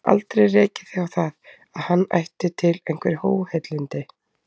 Aldrei rekið þig á það, að hann ætti til einhver óheilindi?